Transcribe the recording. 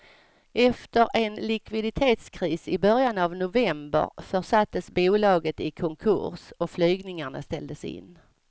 Efter en likviditetskris i början av november försattes bolaget i konkurs och flygningarna ställdes in.